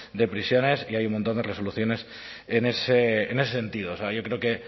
de prisiones y hay un montón de resoluciones en ese sentido o sea yo creo que